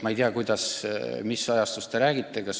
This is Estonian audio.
Ma ei tea täpselt, mis ajast te räägite.